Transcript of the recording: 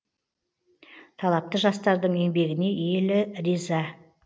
талапты жастардың еңбегіне елі риза